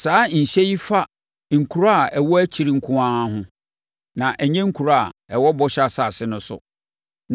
Saa nhyɛ yi fa nkuro a ɛwɔ akyiri nko ara ho, na ɛnyɛ nkuro a ɛwɔ bɔhyɛ asase no so.